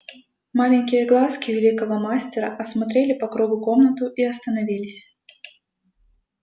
маленькие глазки великого мастера осмотрели по кругу комнату и остановились